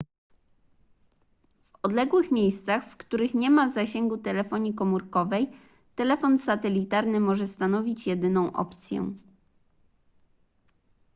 w odległych miejscach w których nie ma zasięgu telefonii komórkowej telefon satelitarny może stanowić jedyną opcję